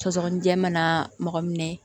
Sɔgɔsɔgɔnijɛ mana mɔgɔ minɛ